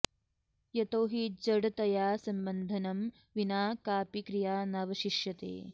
यतो हि जडतया सम्बन्धनं विना कापि क्रिया नावशिष्यते